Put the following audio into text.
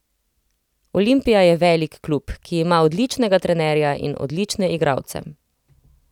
Olimpija je velik klub, ki ima odličnega trenerja in odlične igralce.